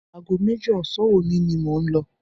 Aago méjì ọ̀sán òní ni mò ń lọ.